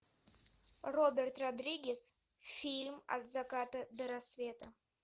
роберт родригес фильм от заката до рассвета